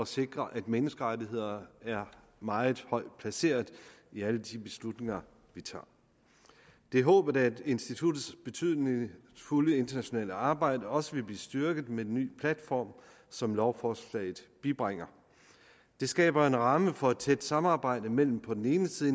sikre at menneskerettigheder er meget højt placeret i alle de beslutninger vi tager det er håbet at instituttets betydningsfulde internationale arbejde også vil blive styrket med den nye platform som lovforslaget bibringer det skaber en ramme for et tæt samarbejde mellem på den ene side